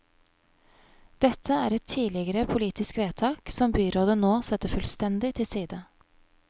Dette er et tidligere politisk vedtak som byrådet nå setter fullstendig til side.